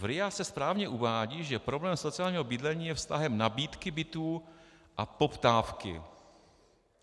V RIA se správně uvádí, že problém sociálního bydlení je vztahem nabídky bytů a poptávky.